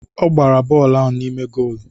Ọ gbara bọọlụ n'ime goolu.